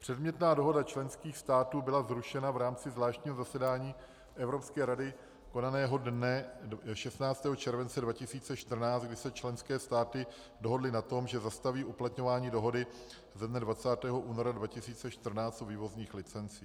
Předmětná dohoda členských států byla zrušena v rámci zvláštního zasedání Evropské rady konaného dne 16. července 2014, kdy se členské státy dohodly na tom, že zastaví uplatňování dohody ze dne 20. února 2014 o vývozních licencích.